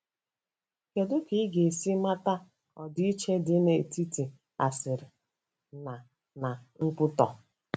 Kedu ka ị ga-esi mata ọdịiche dị n'etiti asịrị na na nkwutọ?